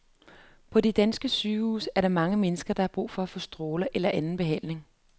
På de danske sygehuse er der mange mennesker, der har brug for at få stråler eller anden behandling.